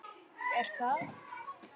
Er það?